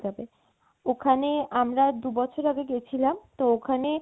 যাবে। ওখানে আমরা দু বছর আগে গেছিলাম তো ওখানে